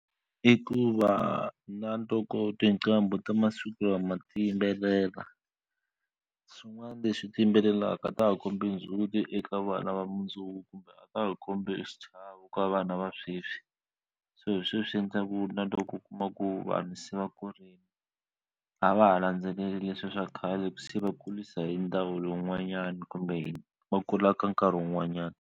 I ku va na tinqambi ta masiku lama ti yimbelela swin'wana leswi ti yimbelelaka a ta ha kombi ndzhuti eka vana va mundzuku kumbe a ta ha kombi xichavo ka vanhu vana va sweswi so hi sweswi endleka ku na loko u kuma ku vanhu se va kurile a va ha landzeleli leswiya swa khale se va kurisa hi lowun'wanyana kumbe va kula ka nkarhi wun'wanyana.